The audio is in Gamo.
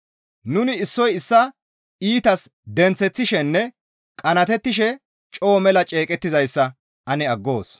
Nuni issoy issaa iitas denththeththishenne qanaatettishe coo mela ceeqettizayssa ane aggoos.